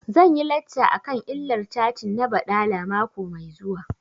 Zan yi lacca akan illar catin na baɗala mako mai zuwa